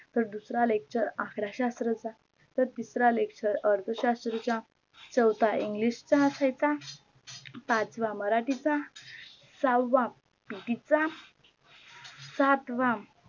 तर दुसरा lecture शास्त्राचा तर तिसरा lecture अर्थशास्त्राचा चवथा english चा असायचा पाचवा मराठी चा सहावा PT चा सातवा